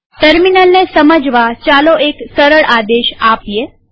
ટર્મિનલને સમજવા ચાલો એક સરળ આદેશ આપીએ